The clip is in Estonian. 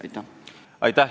Aitäh!